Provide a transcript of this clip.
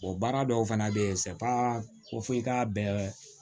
baara dɔw fana bɛ yen ko f'i k'a bɛɛ